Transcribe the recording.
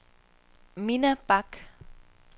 Minna Bak